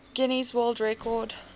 guinness world record